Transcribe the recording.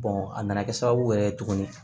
a nana kɛ sababu yɛrɛ ye tuguni